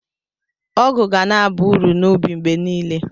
Ọgụ ga na-aba uru n'ubi mgbe niile.